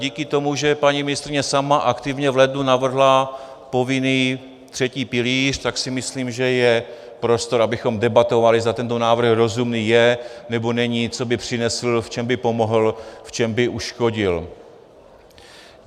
Díky tomu, že paní ministryně sama aktivně v lednu navrhla povinný třetí pilíř, tak si myslím, že je prostor, abychom debatovali, zda tento návrh rozumný je, nebo není, co by přinesl, v čem by pomohl, v čem by uškodil.